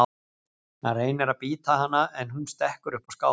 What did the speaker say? Hann reynir að bíta hana en hún stekkur upp á skáp.